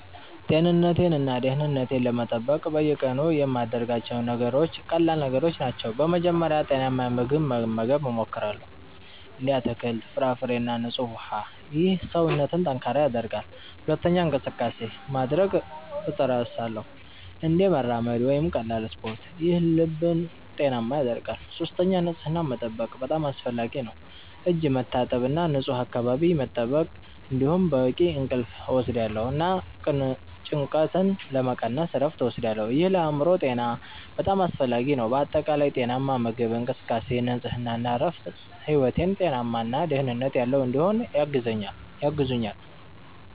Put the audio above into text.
ጤንነቴን እና ደህንነቴን ለመጠበቅ በየቀኑ የምያደርጋቸው ነገሮች ቀላል ነገሮች ናቸው። በመጀመሪያ ጤናማ ምግብ መመገብ እሞክራለሁ፣ እንደ አትክልት፣ ፍራፍሬ እና ንጹህ ውሃ። ይህ ሰውነትን ጠንካራ ያደርጋል። ሁለተኛ እንቅስቃሴ (exercise) ማድረግ እጥርሳለሁ፣ እንደ መራመድ ወይም ቀላል ስፖርት። ይህ ልብን ጤናማ ያደርጋል። ሶስተኛ ንጽህናን መጠበቅ በጣም አስፈላጊ ነው፣ እጅ መታጠብ እና ንፁህ አካባቢ መጠበቅ። እንዲሁም በቂ እንቅልፍ እወስዳለሁ እና ጭንቀትን ለመቀነስ እረፍት እወስዳለሁ። ይህ ለአእምሮ ጤና በጣም አስፈላጊ ነው። በአጠቃላይ ጤናማ ምግብ፣ እንቅስቃሴ፣ ንጽህና እና እረፍት ሕይወቴን ጤናማ እና ደህንነት ያለው እንዲሆን ያግዙኛል